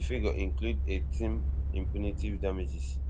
figure include eighteen in punitive damages